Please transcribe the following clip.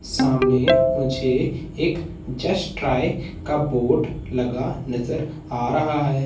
सामने मुझे एक जस्ट ट्राई का बोर्ड लगा नजर आ रहा है।